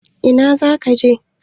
Ina zaka je?